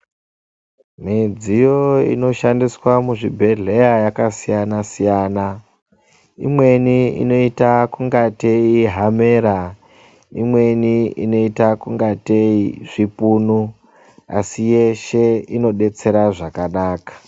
Midziyo inoshandiswa muzvibhedhleya yakasiyana-siyana. imeni inoita kunge tei hamera, imeni inoita kunga tei zvipunu asi yeshe inobetsera zvakanaka.